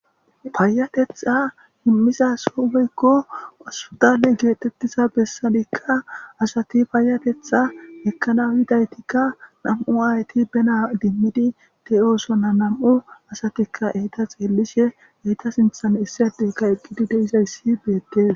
payatetha himmiza sobeykko asudale geetettiza bessadikka asati payatetha hekkana yidaytikka nam7u ayti bena dimmidi te oosonna nam7u asatikka eyta xeellishe eyta sinthan issadeyka eqqidi deizayssi beettes